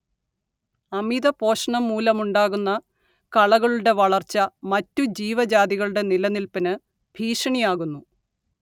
അമിതപോഷണം മൂലമുണ്ടാകുന്ന കളകളുടെ വളർച്ച മറ്റുജീവജാതികളുടെ നിലനില്പിന് ഭീഷണിയാകുന്നു